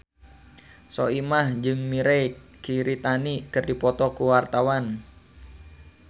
Soimah jeung Mirei Kiritani keur dipoto ku wartawan